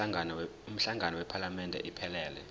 umhlangano wephalamende iphelele